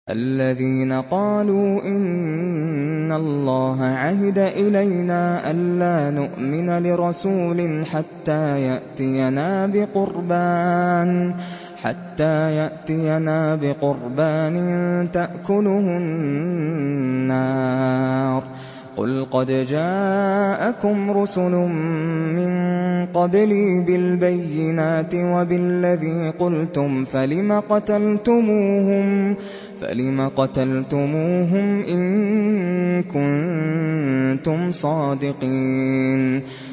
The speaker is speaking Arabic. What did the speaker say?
الَّذِينَ قَالُوا إِنَّ اللَّهَ عَهِدَ إِلَيْنَا أَلَّا نُؤْمِنَ لِرَسُولٍ حَتَّىٰ يَأْتِيَنَا بِقُرْبَانٍ تَأْكُلُهُ النَّارُ ۗ قُلْ قَدْ جَاءَكُمْ رُسُلٌ مِّن قَبْلِي بِالْبَيِّنَاتِ وَبِالَّذِي قُلْتُمْ فَلِمَ قَتَلْتُمُوهُمْ إِن كُنتُمْ صَادِقِينَ